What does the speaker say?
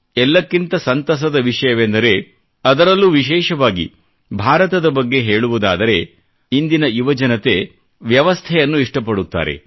ಎಲ್ಲಕ್ಕಿಂತ ಸಂತಸದ ವಿಷಯವೆಂದರೆ ಅದರಲ್ಲೂ ವಿಶೇಷವಾಗಿ ಭಾರತದ ಬಗ್ಗೆ ಹೇಳುವುದಾದರೆ ಇಂದಿನ ಯುವ ಜನತೆ ವ್ಯವಸ್ಥೆಯನ್ನು ಇಷ್ಟಪಡುತ್ತಾರೆ